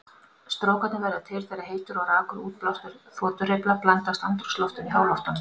Strókarnir verða til þegar heitur og rakur útblástur þotuhreyfla blandast andrúmsloftinu í háloftunum.